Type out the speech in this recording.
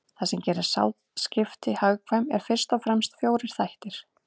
Það sem gerir sáðskipti hagkvæm eru fyrst og fremst fjórir þættir.